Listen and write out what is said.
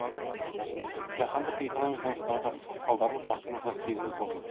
жаһандық экономикалық дағдарыстың салдарын халқымыз да сезініп отыр